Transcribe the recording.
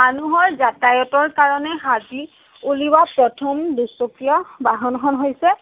মানুহৰ যাতায়তৰ কাৰণে সাজি উলিওৱা প্ৰথম দুচকীয়া বাহনখন হৈছে